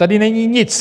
Tady není nic.